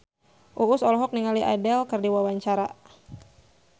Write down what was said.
Uus olohok ningali Adele keur diwawancara